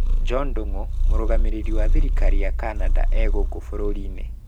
Job Ndungu, mũrũgamĩrĩri wa thirikari ya Canada gũkũ bũrũri-inĩ